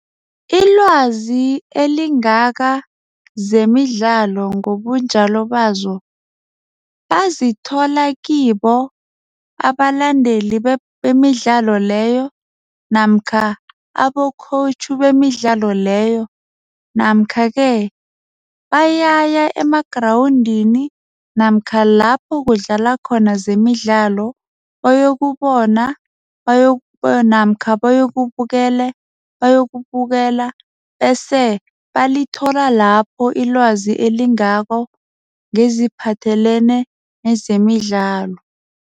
Ilwazi elingaka zemidlalo ngobunjalo bazo bazithola kibo abalandeli bemidlalo leyo namkha abo-coach bemidlalo leyo namkha-ke bayaya emagrawundini namkha lapho kudlalwa khona zemidlalo bayokubona namkha bayokubukela bese balithola lapho ilwazi elingako ngeziphathelene nezemidlalo.